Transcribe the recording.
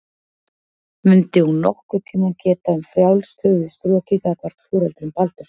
Mundi hún nokkurn tíma geta um frjálst höfuð strokið gagnvart foreldrum Baldurs?